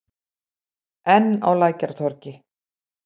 Enn á Lækjartorgi.